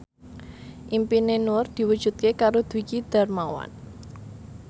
impine Nur diwujudke karo Dwiki Darmawan